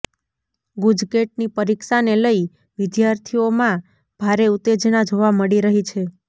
ગુજકેટની પરીક્ષાને લઇ વિદ્યાર્થીઓમાં ભારે ઉત્તેજના જોવા મળી રહી છે